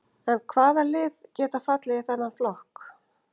En hvaða lið geta fallið í þennan flokk?